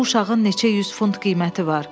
Bu uşağın neçə yüz funt qiyməti var.